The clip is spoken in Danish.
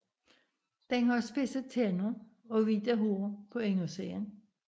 Den har spidse tænder og hvide hår på indersiden